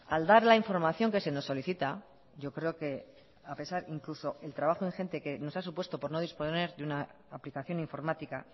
al dar la información que se nos solicita yo creo que a pesar incluso el trabajo ingente que nos ha supuesto por no disponer de una aplicación informática